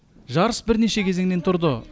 жарыс бірнеше кезеңнен тұрды